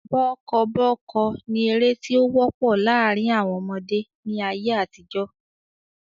Bọ́kọ́bọ́ọ́kọ́ ni ère tí ó wọ́pọ̀ láàrín àwọn ọmọdé ni ayé àtijọ́